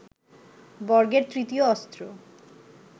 বর্গের তৃতীয় অস্ত্র